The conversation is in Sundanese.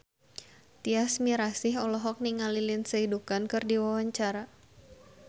Tyas Mirasih olohok ningali Lindsay Ducan keur diwawancara